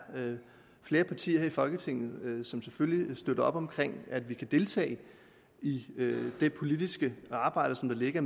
flere partier her i folketinget som selvfølgelig støtter op om at vi kan deltage i det politiske arbejde der ligger